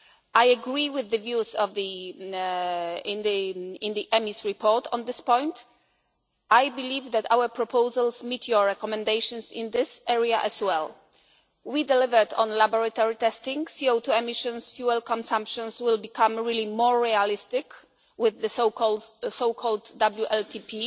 overall. I agree with the views in the EMIS report on this point. I believe that our proposals meet your recommendations in this area as well. We delivered on laboratory testing CO2 emissions, fuel consumption will become really more realistic with the so